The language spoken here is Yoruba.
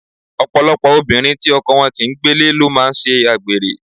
Ọ̀pọ̀lọpọ̀ obìnrin tí ọkọ wọn kì ń gbélé ló máa ń ṣe àgbèrè.